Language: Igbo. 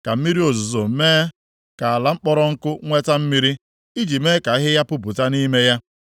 ka mmiri ozuzo mee ka ala kpọrọ nkụ nweta mmiri iji mee ka ahịhịa pupụta nʼime ya.